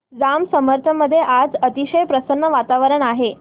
जांब समर्थ मध्ये आज अतिशय प्रसन्न वातावरण आहे